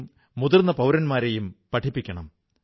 ഐക്യമാണ് ഊർജ്ജം ഐക്യമാണു ശക്തി